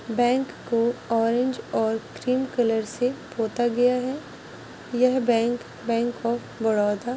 से सजाया गया है बैंक को ऑरेंज और ग्रेन कलर से पोता गया है यहाँ --